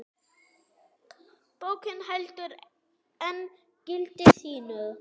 Bókin heldur enn gildi sínu.